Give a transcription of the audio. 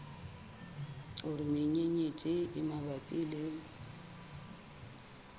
hore menyenyetsi e mabapi le